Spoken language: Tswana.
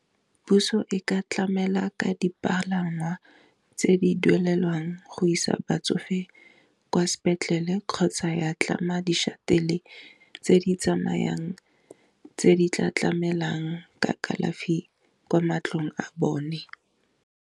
Puso e ka tlamela ka dipalangwa tse di duelelwang go isa batsofe kwa sepetlele kgotsa ya tlama di shattle, tse di tsamayang tse di tla tlamelang ka kalafi kwa matlong a bone.